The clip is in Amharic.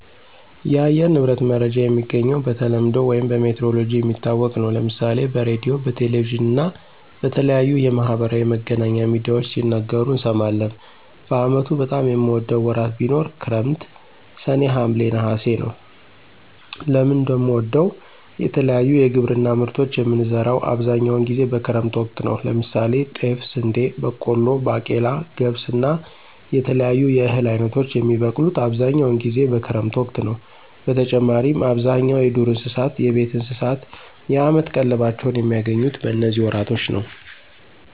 የአየር ንብረት መረጃ የሚገኘው በተለምዶ ውይም በሜትሮሎጅ የሚታወቅ ነው። ለምሳሌ በሬድዮ፣ በቴሌቪዥን እና በተለያዩ የማህበራዊ መገናኛ ሚድያዎች ሲነገሩ እንሰማለን። በአመቱ በጣም የምወደው ወራት ቢኖር ክረምት ሰኔ፣ ሀምሌ፣ ነሐሴ ነወ። ለምን እንደምወደው የተለያዩ የግብርና ምርቶችን የምንዘራው አብዛኛውን ጊዜ በክረምት ወቅት ነው። ለምሳሌ ጤፍ፣ ስንዴ፣ በቆሎ፣ ባቄላ፣ ገብስ እና የተለያዩ የእህል አይነቶች የሚበቅሉት አብዛኛውን ጊዜ በክረምት ወቅት ነዉ። በተጨማሪም አብዛኛው የዱር እንስሳት፣ የቤት እንስሳት የአመት ቀለባቸውን የሚያገኙት በነዚህ ወራቶች ነው።